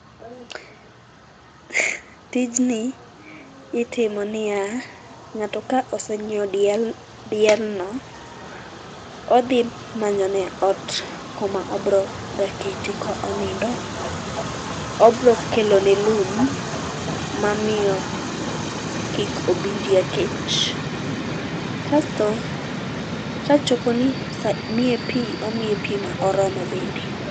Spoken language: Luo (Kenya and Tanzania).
Tijni itimo niya, ngato ka osenyiew diel, diel no odhi manyo ne ot koma obro dake to onindo, obro kelone lum mamiyo kik obi orii kech. Kasto kachoponi saa, miye pii, omiye pii moromo bende